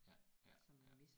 Ja ja ja